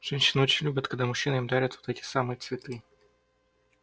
женщины очень любят когда мужчины им дарят вот эти самые цветы